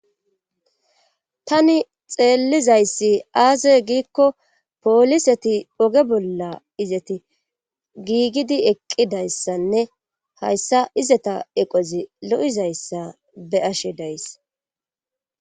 Tani xeellizayssi aasey giikko pooliseti oge bolla izeti giigidi eqqidayssanne hayssa izeta eqozi lo7izayssa be'ashe days.